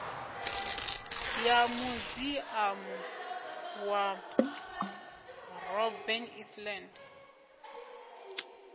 ya muziamu wa robben island